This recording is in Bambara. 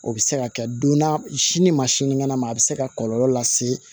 O bɛ se ka kɛ donna sini ma sinikɛnɛ ma a bɛ se ka kɔlɔlɔ lase